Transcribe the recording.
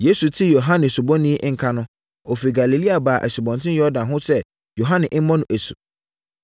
Yesu tee Yohane Osubɔni nka no, ɔfiri Galilea baa Asubɔnten Yordan ho sɛ Yohane mmɔ no asu.